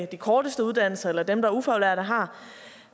de korteste uddannelser eller dem der er ufaglærte har